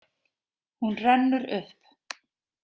Hún rennur upp.